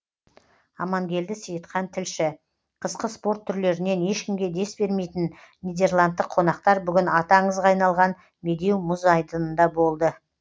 амангелді сейітхан тілші қысқы спорт түрлерінен ешкімге дес бермейтін нидерландтық қонақтар бүгін аты аңызға айналған медеу мұз айдынында болды